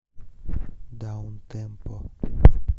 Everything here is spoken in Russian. даунтемпо